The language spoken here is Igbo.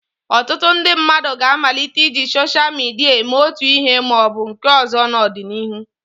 Ọtụtụ ndị mmadụ ga-amalite iji soshal midia eme otu ihe ma ọ bụ nke ọzọ n'ọdịnihu.